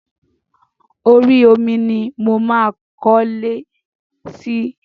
Orí omi ni mo máa kọlé sí.